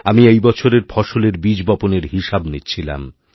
আমি এই বছরেরফসলের বীজ বপনের হিসাব নিচ্ছিলাম